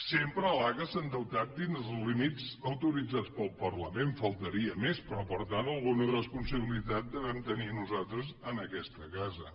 sempre l’aca s’ha endeutat dins els límits autoritzats pel parlament només faltaria però per tant alguna responsabilitat devem tenir nosaltres en aquesta casa